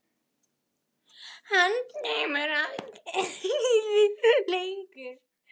Hann kemur mér ekkert við lengur.